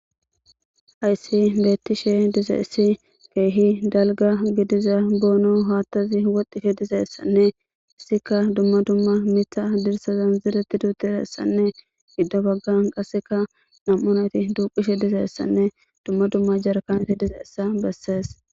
ayssi beettishe dizeessi keehi dalga gidiza boono haattazi woxdishe dizeessanne issika dumma dumma mitha dirsa zanzireti duutisessanne gidda baggan qasseka nam7onati duqishe dizeessanne dumma dumma jarakaneti dizeessa bessees